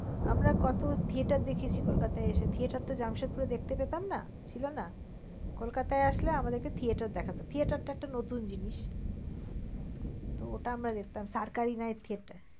আমরা কত theater দেখিয়েছি কলকাতায় এসে। theater তো জামশেদপুরে দেখতে পেতাম না ছিল না। কলকাতায় আসলে আমাদের theater দেখাত, theater একটা নতুন জিনিস। ওটা আমরা দেখতাম night theater